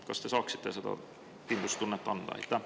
Kas te saaksite seda kindlustunnet anda?